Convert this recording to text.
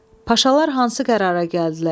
Paşalar hansı qərara gəldilər?